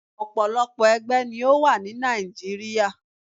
Òpòlopò ẹgbẹ́ ni ó wà ni Nigeria.